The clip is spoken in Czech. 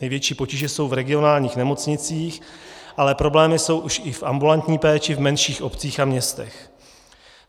Největší potíže jsou v regionálních nemocnicích, ale problémy jsou už i v ambulantní péči v menších obcích a městech.